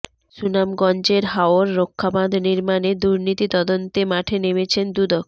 সুনামগঞ্জের হাওর রক্ষাবাঁধ নির্মাণে দুর্নীতি তদন্তে মাঠে নেমেছে দুদক